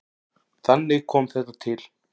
Þannig kom þetta til.